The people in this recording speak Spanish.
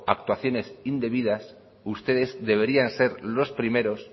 actuaciones indebidas ustedes deberían ser los primeros